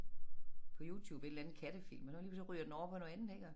På YouTube et eller andet kattefilm og så lige pludselig så ryger den over på noget andet ik og